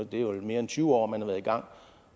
det er jo i mere end tyve år man har været i gang